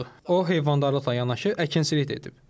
O heyvandarlıqla yanaşı əkinçilik də edib.